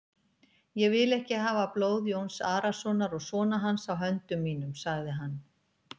Ég vil ekki hafa blóð Jóns Arasonar og sona hans á höndum mínum, sagði hann.